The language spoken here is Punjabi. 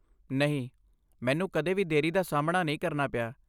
ਨਹੀਂ, ਮੈਨੂੰ ਕਦੇ ਵੀ ਦੇਰੀ ਦਾ ਸਾਹਮਣਾ ਨਹੀਂ ਕਰਨਾ ਪਿਆ।